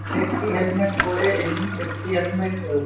safety helmet পরে এমনি safety helmet আ--